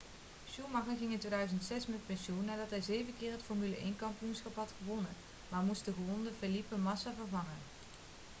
schumacher ging in 2006 met pensioen nadat hij zeven keer het formule 1-kampioenschap had gewonnen maar moest de gewonde felipe massa vervangen